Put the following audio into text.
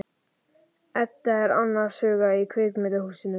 Edda er annars hugar í kvikmyndahúsinu.